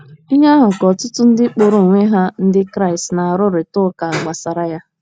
Ihe ahụ ka ọtụtụ ndị kpọrọ onwe ha Ndị Kraịst na - arụrịta ụka gbasara ya.